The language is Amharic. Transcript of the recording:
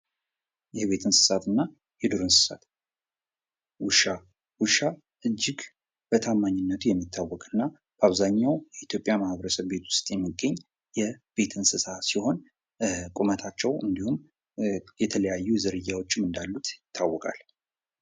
የቤት እንስሳትና የዱር እንስሳት ውሻ፤ ውሻ እጅግ በታማኝነቱ የሚታወቅ እና በአብዛኛው የኢትዮጵያ ማህበረሰብ ቤቶች የሚገኝ የቤት እንስሳ ሲሆን ቁመታቸው እንዲሁም የተለያዩ ዝርያራዎችም እንዳሉት ይታወቃል።